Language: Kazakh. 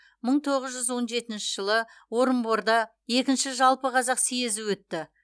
мың тоғыз жүз он жетінші жылы орынборда екінші жалпы қазақ съезі өтті